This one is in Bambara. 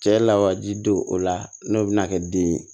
Cɛ lawaji don o la n'o bɛna kɛ den ye